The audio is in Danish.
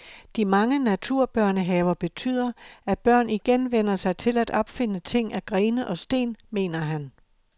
De mange naturbørnehaver betyder, at børn igen vænner sig til at opfinde ting af grene og sten, mener han.